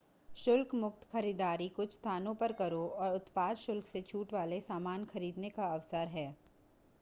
शुल्क मुक्त खरीदारी कुछ स्थानों पर करों और उत्पाद शुल्क से छूट वाले सामान खरीदने का अवसर है